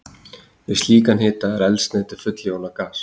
við slíkan hita er eldsneytið full jónað gas